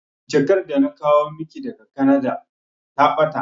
Jakar da na kawo maki daga Kanada ta ɓata